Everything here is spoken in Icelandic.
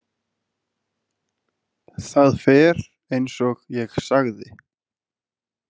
Það fer eins og ég sagði.